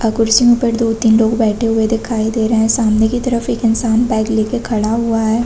--और कुर्सी के ऊपर दो तीन लोग बैठे हुए दिखाई दे रहै है सामने की तरफ एक इन्शान बाइक लेके खड़ा हुआ है।